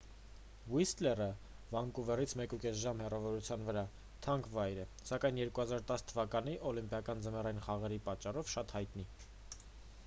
ուիսթլերը վանկուվերից 1,5 ժամ հեռավորության վրա թանկ վայր է սակայն 2010 թ. օլիմպիական ձմեռային խաղերի պատճառով՝ շատ հայտնի: